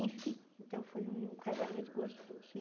Enfim, então foi um casamento gostoso.